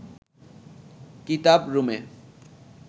কিতাব রুমে